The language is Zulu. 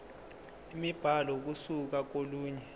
imibhalo ukusuka kolunye